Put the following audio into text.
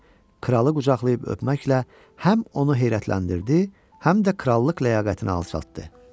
Kralı qucaqlayıb öpməklə həm onu heyrətləndirdi, həm də krallıq ləyaqətini alçaltdı.